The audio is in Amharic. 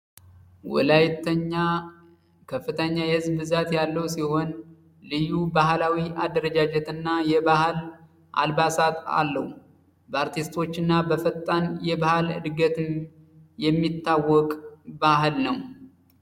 ወላይተኛ ከፍተኛ የሕዝብ ብዛት ያለው ሲሆን፤ ልዩ ባህላዊ አደረጃጀትና የባህል አልባሳት አለው። በአርቲስቶች እና በፈጣን የባህል ዕድገትን የሚታወቅ ባህል ነው።